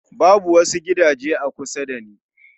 Babu wasu gidaje a kusa da ni